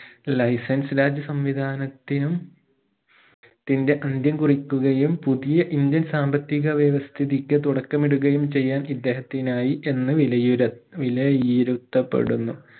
life and sludge സംവിധാനത്തിനും തിന്റെ അന്ത്യം കുറിക്കുകയും പുതിയ indian സാമ്പത്തിക വ്യവസ്ഥിതിക്ക് തുടക്കമിടുകയും ചെയ്യാൻ ഇദ്ദേഹത്തിനായി എന്ന വിലയിര വിലയിരുത്തപ്പെടുന്നു